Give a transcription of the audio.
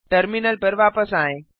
terminal पर वापस आएँ